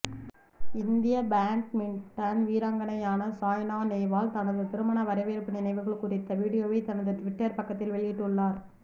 இந்திய பேட்மிண்டன் வீராங்கணையான சாய்னா நேவால் தனது திருமண வரவேற்பு நினைவுகள் குறித்த வீடியோவை தனது ட்விட்டர் பக்கத்தில் வெளியிட்டுள்ளார்